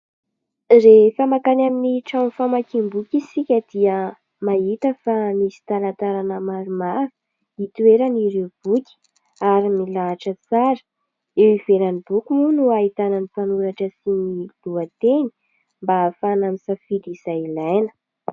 Rehefa mankany amin'ny trano famakiam-boky isika dia mahita fa misy talantalana maromaro itoeran'ireo boky ary milahatra tsara. Eo ivelan'ny boky moa no ahitana ny mpanoratra sy ny lohateny mba ahafahana misafidy izay ilaina.